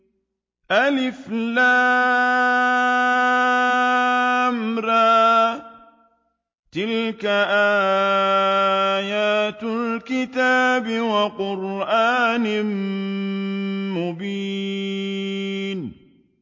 الر ۚ تِلْكَ آيَاتُ الْكِتَابِ وَقُرْآنٍ مُّبِينٍ